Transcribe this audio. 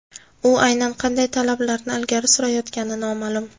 U aynan qanday talablarni ilgari surayotgani noma’lum.